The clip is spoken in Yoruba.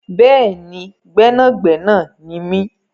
Bẹ́ẹ̀ni, gbẹ́nàgbẹnà ni mi.